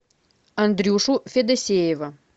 андрюшу федосеева